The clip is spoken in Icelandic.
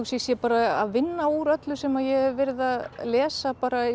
ég sé bara að vinna úr öllu sem ég hef verið að lesa bara